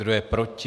Kdo je proti?